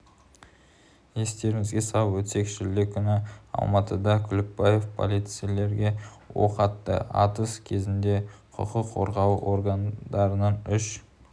естеріңізге салып өтсек шілде күні алматыда күлікбаев полицейлерге оқ атты атыс кезінде құқық қорғау органдарының үш